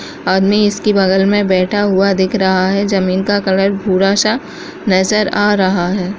आदमी इसके बगल में बैठा हुआ दिख रहा है ज़मीन का कलर भूरा-सा नजर आ रहा है।